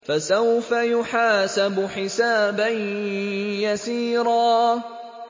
فَسَوْفَ يُحَاسَبُ حِسَابًا يَسِيرًا